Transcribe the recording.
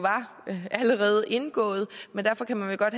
allerede var indgået men derfor kan man vel godt